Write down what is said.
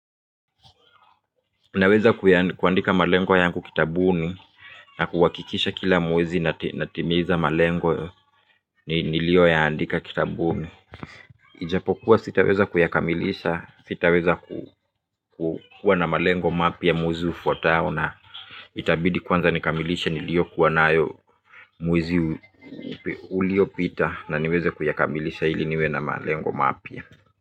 Naweza kuandika malengo yangu kitabuni na kuwakikisha kila mwezi natimiza malengo ni nilio yaandika kitabuni ijapokuwa sitaweza kuyakamilisha sitaweza kuwa na malengo mapya mwezi ufwatao na itabidi kwanza nikamilishe nilio kuwa nayo mwezi uliopita na niweze kuyakamilisha ili niwe na malengo mapya.